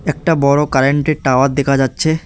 একটা বড়ো কারেন্টের টাওয়ার দেখা যাচ্ছে।